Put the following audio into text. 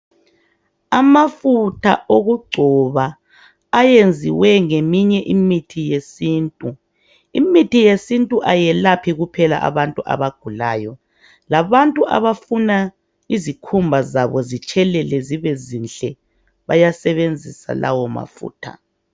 Amafutha okugcoba ayenziwe ngeminye imithi yesintu , Imithi yesintu ayelaphi kuphela abantu abagulayo kodwa labafuna izikhumba zabo zitshelele zibe zinhle bayasebenzisa lawo mafutha.